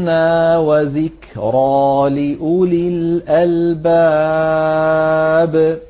مِّنَّا وَذِكْرَىٰ لِأُولِي الْأَلْبَابِ